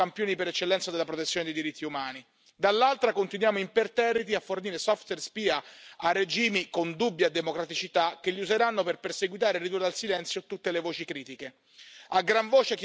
Da una parte, ci definiamo campioni per eccellenza della protezione dei diritti umani, dall'altra, continuiamo imperterriti a fornire software spia a regimi con dubbia democraticità che li useranno per perseguitare e ridurre al silenzio tutte le voci critiche.